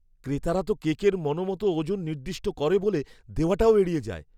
ক্রেতারা তো কেকের মনমতো ওজন নির্দিষ্ট করে বলে দেওয়াটাও এড়িয়ে যায়।